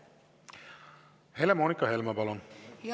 Helle-Moonika Helme, palun!